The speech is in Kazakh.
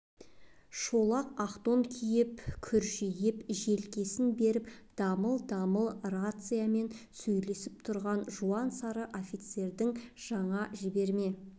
шолақ ақ тон киіп күржиіп желкесін беріп дамыл-дамыл рациямен сөйлесіп тұрған жуан сары офицердің жаңа жіберме